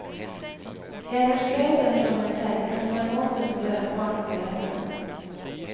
Jeg har skrevet den for meg selv, men på en måte som gjør at barn kan lese den.